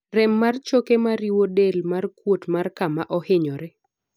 rem mar choke mariwo del kod kuot mar kama ohinyore